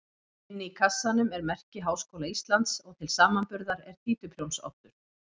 Inni í kassanum er merki Háskóla Íslands og til samanburðar er títuprjónsoddur.